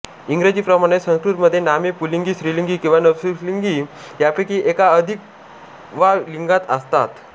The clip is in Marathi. इंग्रजीप्रमणेच संस्कृतमध्ये नामे पुल्लिंग स्त्रीलिंग किंवा आणि नपुंसकलिंग यांपैकी एका वा अधिक लिंगांत असतात